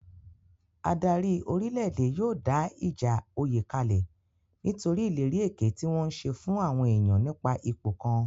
Adarí orílè-èdè yóò dá ìjà oyè kalẹ̀ nítorí ìlérí èké tí wọ́n ń ṣe fún àwọn èèyàn nípa ipò kan